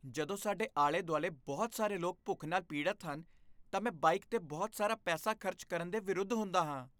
ਜਦੋਂ ਸਾਡੇ ਆਲੇ ਦੁਆਲੇ ਬਹੁਤ ਸਾਰੇ ਲੋਕ ਭੁੱਖ ਨਾਲ ਪੀੜਤ ਹਨ ਤਾਂ ਮੈਂ ਬਾਈਕ 'ਤੇ ਬਹੁਤ ਸਾਰਾ ਪੈਸਾ ਖ਼ਰਚ ਕਰਨ ਦੇ ਵਿਰੁੱਧ ਹੁੰਦਾ ਹਾਂ।